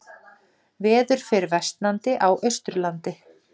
Veður fer versnandi á Austurlandi